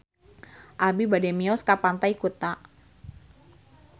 Abi bade mios ka Pantai Kuta